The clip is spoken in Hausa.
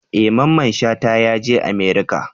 E! Mamman shata yaje America.